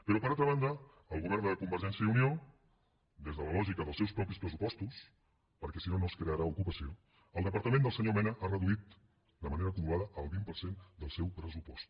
però per altra banda el govern de convergència i unió des de la lògica dels seus propis pressupostos perquè si no no es crearà ocupació el departament del senyor mena ha reduït de manera acumulada el vint per cent del seu pressupost